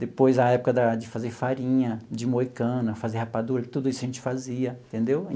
Depois, a época da de fazer farinha, de moer cana, fazer rapadura, tudo isso a gente fazia, entendeu?